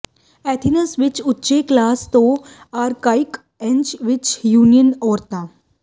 Athens ਵਿਚ ਉੱਚੇ class ਤੋਂ ਆਰਕਾਈਕ ਏਜ ਵਿਚ ਯੂਨਾਨੀ ਔਰਤਾਂ